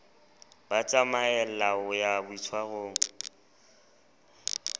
ba tsamaella ho ya boitshwarong